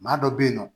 Maa dɔ bɛ yen nɔ